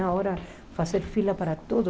Agora, fazer fila para todos.